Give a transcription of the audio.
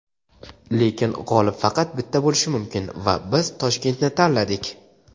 Lekin g‘olib faqat bitta bo‘lishi mumkin va biz Toshkentni tanladik.